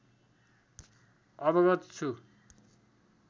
अवगत छु